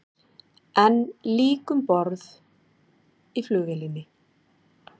Enn lík um borð í flugvélinni